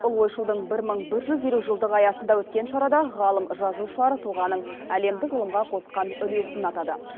ұлы ойшылдың бір мың бір жүз елу жылдығы аясында өткен шарада ғалым жазушылар тұлғаның әлемдік ғылымға қосқан үлесін атады